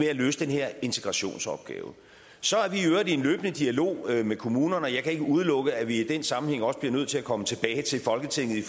at løse den her integrationsopgave så er vi i øvrigt i en løbende dialog med kommunerne og jeg kan ikke udelukke at vi i den sammenhæng også bliver nødt til at komme tilbage til folketinget